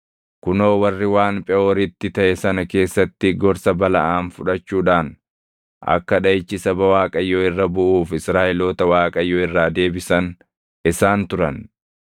Kunoo warri waan Pheʼooritti taʼe sana keessatti gorsa Balaʼaam fudhachuudhaan akka dhaʼichi saba Waaqayyoo irra buʼuuf Israaʼeloota Waaqayyo irraa deebisan isaan turan.